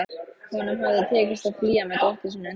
Honum hafði tekist að flýja með dóttur sína undan